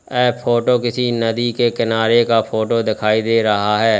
ये फोटो किसी नदी के किनारे का फोटो दिखाई दे रहा है।